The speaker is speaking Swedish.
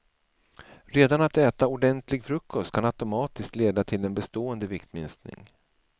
Redan att äta ordentlig frukost kan automatiskt leda till en bestående viktminskning.